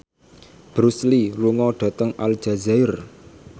Bruce Lee lunga dhateng Aljazair